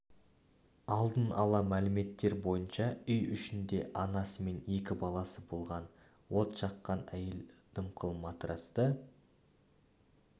алдын ала мәліметтер бойынша үй ішінде анасы мен екі баласы болған от жаққан әйел дымқыл матрацты